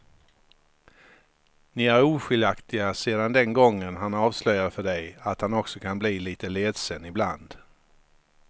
Ni är oskiljaktiga sedan den gången han avslöjade för dig att han också kan bli lite ledsen ibland.